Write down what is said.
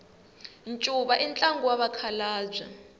ncuva i ntlangu wa vakhalabya